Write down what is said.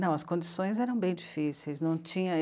Não, as condições eram bem difíceis. Não tinha